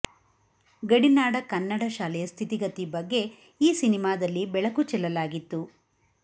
ಗಡಿನಾಡ ಕನ್ನಡ ಶಾಲೆಯ ಸ್ಥಿತಿಗತಿ ಬಗ್ಗೆ ಈ ಸಿನಿಮಾದಲ್ಲಿ ಬೆಳಕು ಚೆಲ್ಲಲಾಗಿತ್ತು